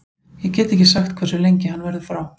Ég get ekki sagt hversu lengi hann verður frá.